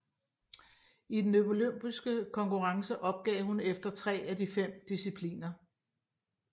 I den olympiske konkurrence opgav hun efter 3 af de 5 discipliner